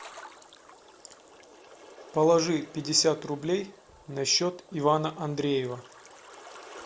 положи пятьдесят рублей на счет ивана андреева